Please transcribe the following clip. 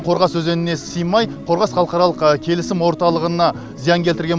қорғас өзеніне сыймай қорғас халықаралық келісім орталығына зиян келтірген